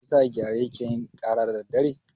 Me yasa gyare ke yin ƙara da daddare?